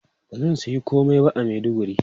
Ba zan sayi komai ba Maiduguri.